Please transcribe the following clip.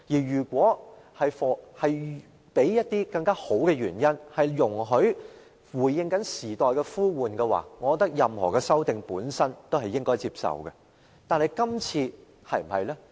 如果出於好的原因回應時代呼喚，我認為任何修訂建議都應該接受。